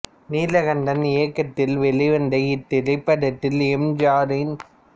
நீலகண்டன் இயக்கத்தில் வெளிவந்த இத்திரைப்படத்தில் எம் ஜி ஆர் என்